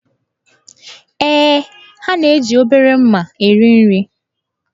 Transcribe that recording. Ee, ha na-eji obere mma eri nri.